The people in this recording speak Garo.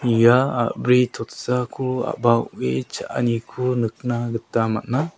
ia a·bri totsako a·ba o·e cha·aniko nikna gita man·a.